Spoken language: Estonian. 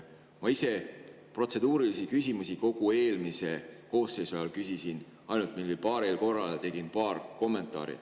Ma ise protseduurilisi küsimusi kogu eelmise koosseisu ajal küsisin ainult mingil paaril korral, tegin paar kommentaari.